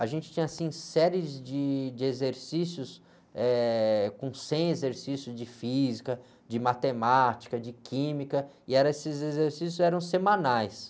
A gente tinha, assim, séries de exercícios, eh, com cem exercícios de física, de matemática, de química, e eram, esses exercícios eram semanais.